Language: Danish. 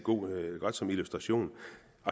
godt som illustration